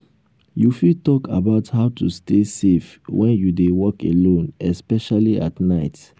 you fit talk about how to stay safe when you dey walk alone especially at night.